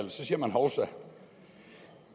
og så siger man hovsa